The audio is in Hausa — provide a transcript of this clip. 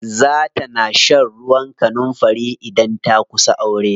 Za ta na shan ruwan kanunfari idan ta kusa aure.